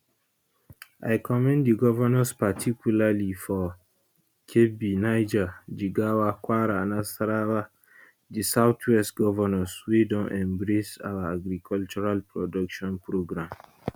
i commend di govnors particularly for kebbi niger jigawa kwara nasarawa and di southwest govnors wey don embrace our agricultural production programme